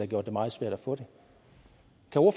gjort det meget svært at få det